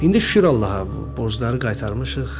İndi şükür Allaha, borcları qaytarmışıq.